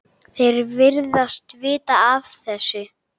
Þeir virðast vita af þessu.